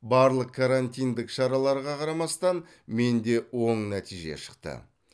барлық карантиндік шараларға қарамастан менде оң нәтиже шықты